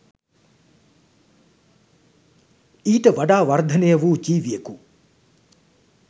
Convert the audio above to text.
ඊට වඩා වර්ධනය වූ ජීවියකු